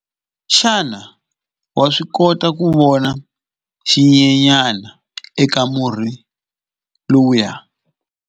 Xana wa swi kota ku vona xinyenyana eka murhi lowuya?